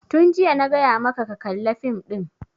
Tun jiya na gaya maka ka kalla fim ɗin!